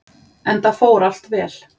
Enda fór allt vel.